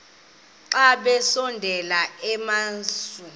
xa besondela emasuie